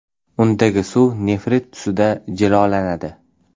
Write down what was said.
Undagi suv nefrit tusida jilolanadi.